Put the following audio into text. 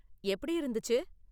எப்படி இருந்துச்சு?